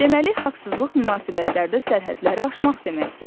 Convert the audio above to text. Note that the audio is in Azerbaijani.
Deməli, haqsızlıq münasibətlərdə sərhədləri aşmaq deməkdir.